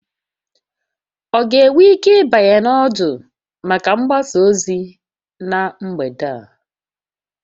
Ọ ga-enwe ike ịbanye na ọdụ maka mgbasa ozi na mgbede a?